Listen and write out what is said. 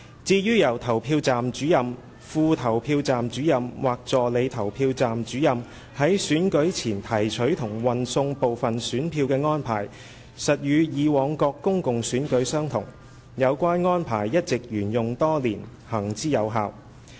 至於由投票站主任/副投票站主任/助理投票站主任在選舉前提取及運送部分選票的安排，實與以往各公共選舉相同，有關安排一直沿用多年，行之有效。